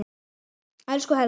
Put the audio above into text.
Elsku Helgi.